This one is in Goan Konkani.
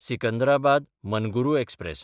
सिकंदराबाद–मनुगुरू एक्सप्रॅस